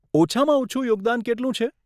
ઓછામાં ઓછું યોગદાન કેટલું છે?